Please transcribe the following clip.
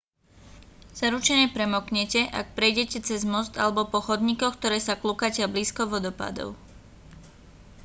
zaručene premoknete ak prejdete cez most alebo po chodníkoch ktoré sa kľukatia blízko vodopádov